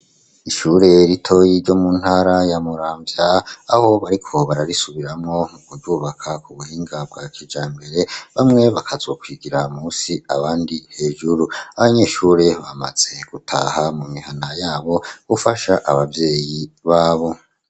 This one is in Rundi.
Ishure ritoyi ryo mu ntara ya muramvya, aho bariko bararisubiramwo, kuryubaka ku buhinga bwa kijambere ,bamwe bakazo kwigira musi ,abandi hejuru ,abanyeshure bamaze gutaha mu mihana yabo ,gufasha ababyeyi babo.